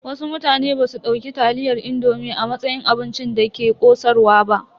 Wasu mutane basu dauki taliyar indomi a matsayin abincin da ke ƙosarwa ba.